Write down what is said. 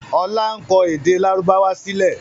Ọlá ń kọ èdè lárúbáwá sílẹ̀